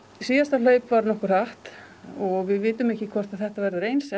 síðasta hlaup var nokkuð hratt og við vitum ekki hvort þetta verður eins